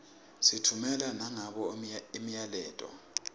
sitffumela nangabo imiyaleto